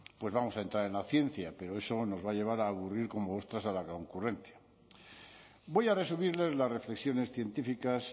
pues vamos a entrar en la ciencia pero eso nos va a llevar a aburrir como ostras a la concurrencia voy a resumir las reflexiones científicas